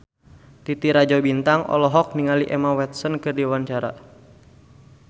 Titi Rajo Bintang olohok ningali Emma Watson keur diwawancara